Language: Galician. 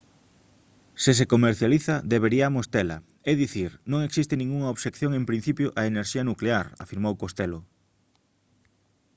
se se comercializa deberíamos tela é dicir non existe ningunha obxección en principio á enerxía nuclear afirmou costello